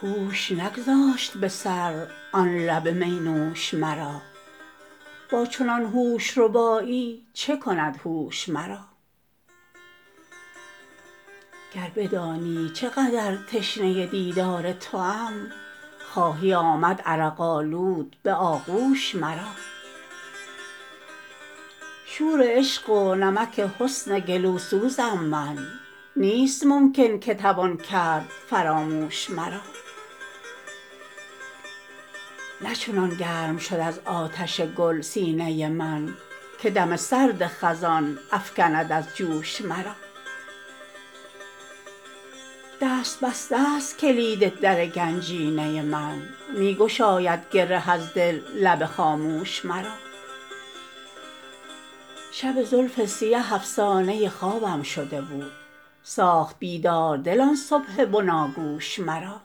هوش نگذاشت به سر آن لب می نوش مرا با چنان هوش ربایی چه کند هوش مرا گر بدانی چه قدر تشنه دیدار توام خواهی آمد عرق آلود به آغوش مرا شور عشق و نمک حسن گلو سوزم من نیست ممکن که توان کرد فراموش مرا نه چنان گرم شد از آتش گل سینه من که دم سرد خزان افکند از جوش مرا دست بسته است کلید در گنجینه من می گشاید گره از دل لب خاموش مرا شب زلف سیه افسانه خوابم شده بود ساخت بیدار دل آن صبح بناگوش مرا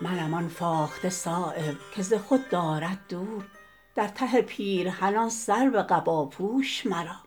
منم آن فاخته صایب که ز خود دارد دور در ته پیرهن آن سرو قباپوش مرا